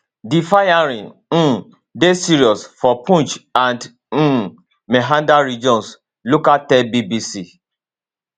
di firing um dey serious for poonch and um mehandar regions locals tell bbc